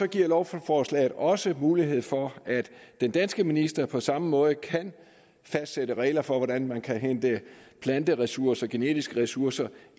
giver lovforslaget også mulighed for at den danske minister på samme måde kan fastsætte regler for hvordan man kan hente planteressourcer genetiske ressourcer